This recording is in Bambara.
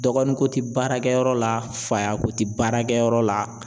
Dɔgɔnin ko tɛ baarakɛyɔrɔ la faya ko tɛ baarakɛ yɔrɔ la.